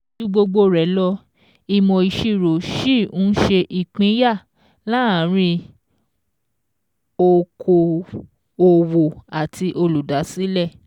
Ju gbogbo rẹ̀ lọ, ìmọ̀ ìṣirò ṣì ń ṣe ìpínyà láàárín okò-òwò àti olùdásílẹ̀.